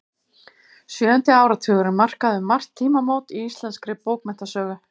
Sjöundi áratugurinn markaði um margt tímamót í íslenskri bókmenntasögu.